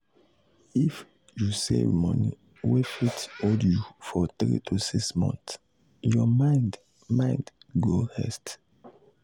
if you save money wey fit hold you for 3–6 months your mind mind go rest.